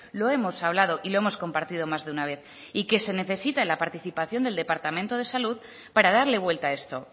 lo hemos hablado y lo hemos compartido más de una vez y que se necesita la participación del departamento de salud para darle vuelta a esto